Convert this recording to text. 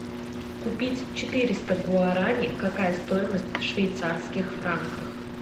купить четыреста гуарани какая стоимость в швейцарских франках